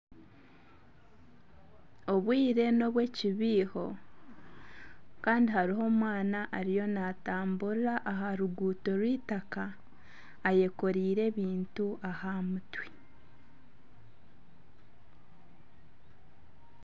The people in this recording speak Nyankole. Obwire n'obw'ekibiiho kandi hariho omwana ariho naatamburira aha ruguuto rw'eitaka ayekoreire ebintu aha mutwe.